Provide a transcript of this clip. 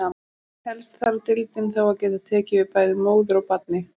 Helst þarf deildin þá að geta tekið við bæði móður og barni.